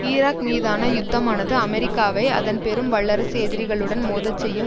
Iraq மீதான யுத்தமானது அமெரிக்காவை அதன் பெரும் வல்லரசு எதிரிகளுடன் மோதச் செய்யும்